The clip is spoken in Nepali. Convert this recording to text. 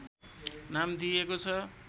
नाम दिएको छ